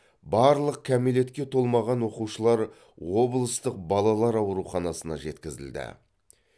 барлық кәмелетке толмаған оқушылар облыстық балалар ауруханасына жеткізілді